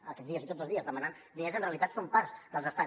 aquests dies i tots els dies demanant diners en realitat són parts dels estats